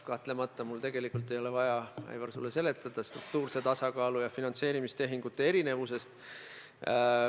Kahtlemata mul tegelikult ei ole vaja, Aivar, sulle seletada struktuurse tasakaalu ja finantseerimistehingute erinevusi.